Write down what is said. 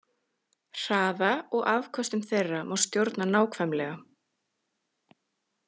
Hraða og afköstum þeirra má stjórna nákvæmlega.